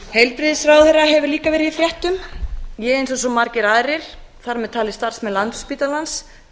heilbrigðisráðherra hefur líka verið í fréttum ég eins og svo margir aðrir þar með talið starfsmenn landspítalans